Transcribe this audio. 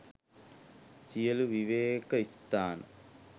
සියලු විවේක ස්ථාන